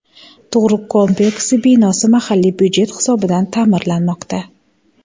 Tug‘ruq kompleksi binosi mahalliy budjet hisobidan ta’mirlanmoqda.